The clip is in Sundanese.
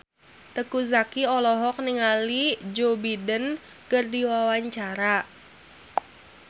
Teuku Zacky olohok ningali Joe Biden keur diwawancara